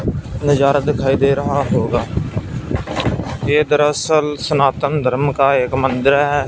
नजारा दिखाई दे रहा होगा ये दरसल सनातन धर्म का एक मंदिर है।